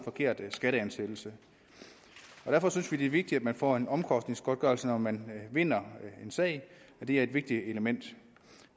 forkert skatteansættelse derfor synes vi det er vigtigt at man får en omkostningsgodtgørelse når man vinder en sag det er et vigtigt element